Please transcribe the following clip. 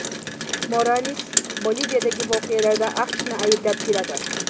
Morales Boliviyadagi voqealarda AQShni ayblab keladi.